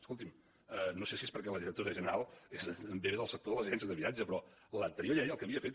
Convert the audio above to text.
escolti’m no sé si és perquè la directora general ve del sector de les agències de viatge però l’anterior llei el que havia fet